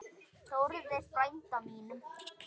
Þórði frænda mínum!